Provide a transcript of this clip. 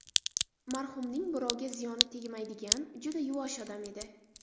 Marhumning birovga ziyoni tegmaydigan, juda yuvosh odam edi.